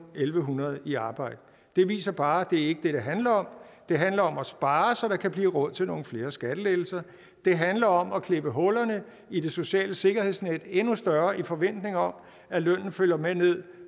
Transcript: en hundrede i arbejde det viser bare at det ikke er det det handler om det handler om at spare så der kan blive råd til nogle flere skattelettelser det handler om at klippe hullerne i det sociale sikkerhedsnet endnu større i forventning om at lønnen følger med ned